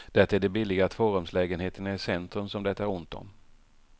Det är de billiga tvårumslägenheterna i centrum som det är ont om.